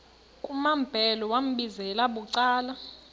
kumambhele wambizela bucala